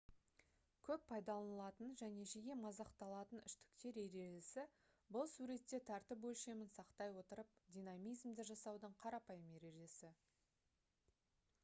көп пайдаланылатын және жиі мазақталатын үштіктер ережесі бұл суретте тәртіп өлшемін сақтай отырып динамизмді жасаудың қарапайым ережесі